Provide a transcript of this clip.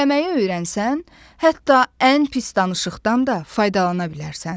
Dinləməyi öyrənsən, hətta ən pis danışıqdan da faydalana bilərsən.